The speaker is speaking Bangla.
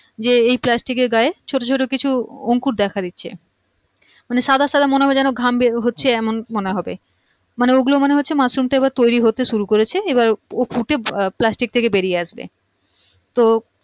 যে এই plastic এর গায়ে ছোট ছোট কিছু অঙ্কুর দেখা দিচ্ছে মানে সাদা সাদা মনে হবে যেন ঘাম বেরহচ্ছে এমন মনে হবে মানে ওগুলো মনে হচ্ছে মাশরুম টা এইবার তৈরী হতে শুরু করেছে এবার ও ফুটে plastic থেকে বেরিয়ে আসবে তো